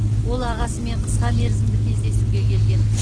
ол ағасымен қысқа мерзімді кездесуге келген